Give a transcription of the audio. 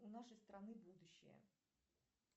у нашей страны будущее